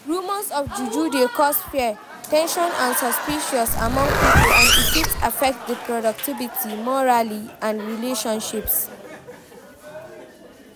Rumors of juju dey cause fear, ten sion and suspicion among people, and e fit affect di productivity, morale and relationships.